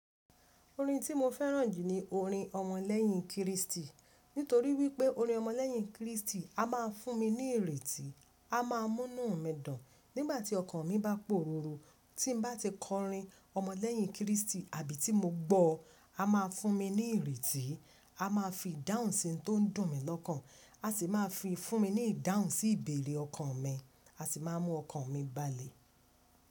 Orin tí mo fẹ́ràn jù ni orin ọmọlẹ́yìn Kristi. Nítorí wípé orin ọmọlẹ́yìn Kristi a máa fún mi ní ìrètí, a máa múnu mi dùn nígbà tí ọkàn mi bá pòrùrù. Tí n bá ti kọrin ọmọlẹ́yìn Kristi àbí tí mo gbọ́ọ, a máa fún mi ní ìrètí, a máa fi ìdáhùn sí n tó dùn mi lọ́kàn. A sì máa fi fún mi ní ìdáhùn sí ìbéèrè ọkàn mi. A sì máa mú ọkàn mi balẹ̀.